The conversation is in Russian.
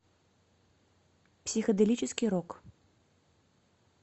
психоделический рок